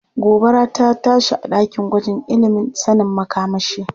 Gobara rta tashi a ɗakin gwajin ilimin sanin makamashi.